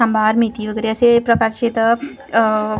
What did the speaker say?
सांबार मेथी वगेरे असे प्रकारचे इथं आह --